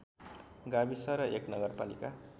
गाविस र एक नगरपालिका